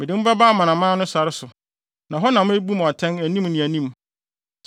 Mede mo bɛba amanaman no sare so, na hɔ na mebu mo atɛn anim ne anim.